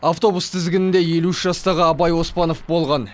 автобус тізгінінде елу үш жастағы абай оспанов болған